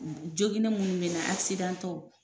Joginen minnu bɛ na akisidantɔw